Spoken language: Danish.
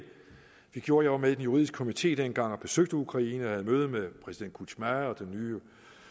vi gjorde jeg var med i den juridiske komité dengang og besøgte ukraine og havde møde med præsident kuchma og den nye